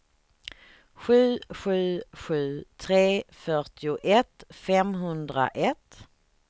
sju sju sju tre fyrtioett femhundraett